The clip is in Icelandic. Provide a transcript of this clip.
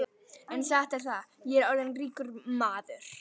En satt er það, ég er orðinn ríkur maður.